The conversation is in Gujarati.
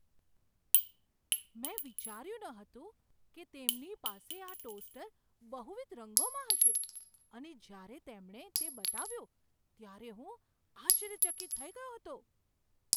મેં વિચાર્યું ન હતું કે તેમની પાસે આ ટોસ્ટર બહુવિધ રંગોમાં હશે અને જ્યારે તેમણે તે બતાવ્યું ત્યારે હું આશ્ચર્યચકિત થઈ ગયો હતો.